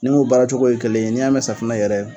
Nin mun baara cogo ye kelen ye ni y'a mɛn safinɛ yɛrɛ